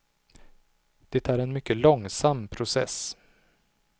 Det är en mycket långsam process.